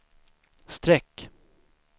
streck